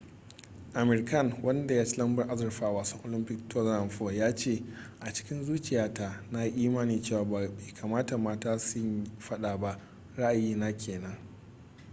amir khan wanda ya ci lambar azurfa a wasan olympic 2004 ya ce a cikin zuciya ta na yi imanin cewa bai kamata mata su yi fada ba ra'ayi na kenan